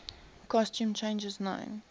costume changes known